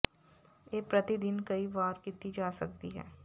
ਇਹ ਪ੍ਰਤੀ ਦਿਨ ਕਈ ਵਾਰ ਕੀਤੀ ਜਾ ਸਕਦੀ ਹੈ